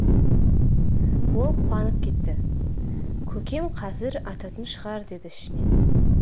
ол қуанып кетті көкем қазір ататын шығар деді ішінен